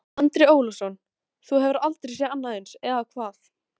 Andri Ólafsson: Þú hefur aldrei séð annað eins, eða hvað?